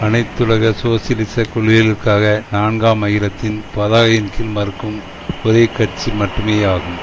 அனைத்துலக சோசியலிச கொள்கைகளுக்காக நான்காம் அகிலத்தின் பதாகையின் கீழ் மறுக்கும் ஒரே கட்சி மட்டுமேயாகும்